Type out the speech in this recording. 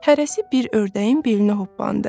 Hərəsi bir ördəyin belinə hoppandı.